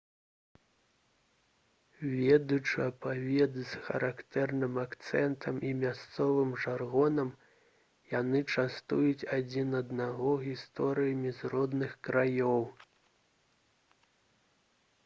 ведучы аповед з характэрным акцэнтам і мясцовым жаргонам яны частуюць адзін аднаго гісторыямі з родных краёў